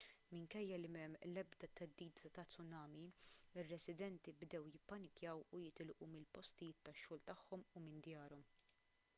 minkejja li m'hemm l-ebda theddida ta' tsunami ir-residenti bdew jippanikjaw u jitilqu mill-postijiet tax-xogħol tagħhom u minn djarhom